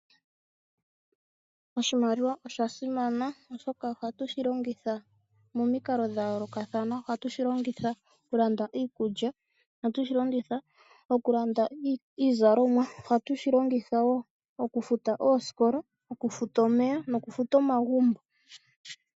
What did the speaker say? Oshimaliwa osha simana, oshoka ohatu shi longitha momikalo dha yoolokathana. Ohatu shi longitha okulanda iikulya, okulanda iizalomwa, ohatu shi longitha wo okufuta oosikola, omeya nokufuta omagumbo.